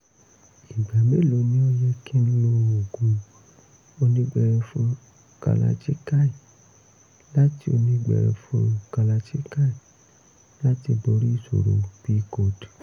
ìgbà mélòó ni ó yẹ kí n lo oògùn onígbẹrẹfu kalachikai láti onígbẹrẹfu kalachikai láti borí ìṣòro [cs[pcod?